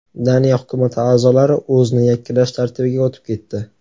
Daniya hukumati a’zolari o‘zni yakkalash tartibiga o‘tib ketdi.